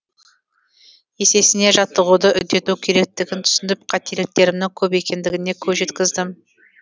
есесіне жаттығуды үдету керектігін түсініп қателіктерімнің көп екендігіне көз жеткіздім